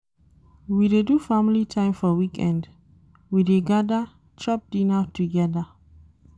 We dey do family time for weekend, we dey gada, chop dinner togeda.